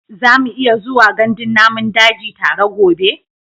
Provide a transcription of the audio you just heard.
Za mu iya zuwa gandun namun daji tare gobe?